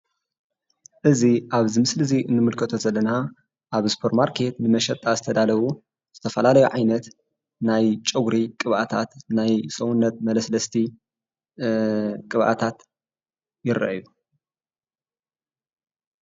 እዚ ኣብዚ ምስሊ ንምልከቶ ዘለና ኣብ ስፖርማርኬት ንመሸጣ ዝተዳለው ዝተፈላለዩ ዓይነት ናይ ፀጉሪ ቅባኣታት ናይ ሰውነት መለስለስቲ ቅብኣታት ይረኣዩ።